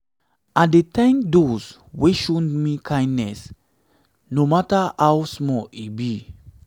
i dey tank dose wey show me kindness no kindness no mata how small e be